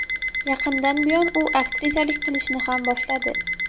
Yaqindan buyon u aktrisalik qilishni ham boshladi.